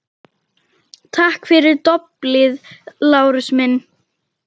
Takk fyrir doblið, Lárus minn